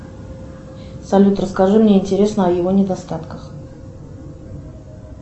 салют расскажи мне интересно о его недостатках